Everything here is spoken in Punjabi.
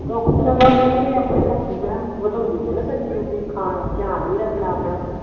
ਦੁੱਖ ਪਤਾ ਕੀ ਮੰਮੀ ਇਹ ਆਪਣੇ ਹਥੀ ਮੈ ਕਿਹਾ ਵਧਾਉਂਦੀ ਆ ਨਾ ਫਿਰ ਜਦੋ ਬੀ ਖਾਣ ਧਿਆਨ ਨਹੀਂ ਰੱਖਣਾ ਆਪਣਾ